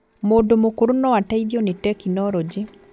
Mũndũ mũkũrũ noateithio nĩ tekinoronjĩ